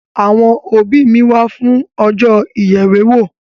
Àwọn òbí mi wá fún ọjọ́ ìyèwèwó.